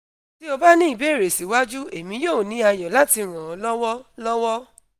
ti o ba ni ibeere siwaju emi yoo ni ayọ lati ran ọ lọwọ lọwọ